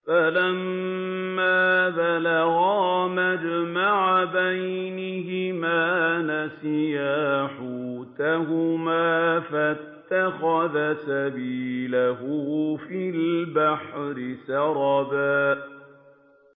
فَلَمَّا بَلَغَا مَجْمَعَ بَيْنِهِمَا نَسِيَا حُوتَهُمَا فَاتَّخَذَ سَبِيلَهُ فِي الْبَحْرِ سَرَبًا